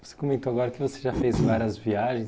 Você comentou agora que você já fez várias viagens.